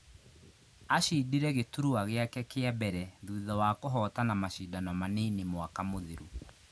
Ashindire gĩturwa gĩake kĩa mbere thutha wa kũhotana mashindano manini mwaka mũthiru